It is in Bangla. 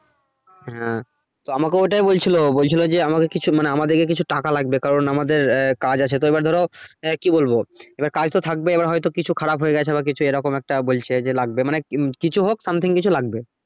হ্যা তো আমাকেও ওইটাই বলছিলো, বলছিলো যে আমাকে কিছু মানে আমাদেরকের কিছু টাকা লাগবে। কারন, আমাদের আহ কাজ আছে তো এইবার ধরো আহ কি বলবো এবার কাজ তো থাকবে এবার হয়তো কিছু খারাপ হয়ে গেছে বা কিছু এরকম একটা বলছে যে লাগবে মানে কিছু হোক something কিছু লাগবে।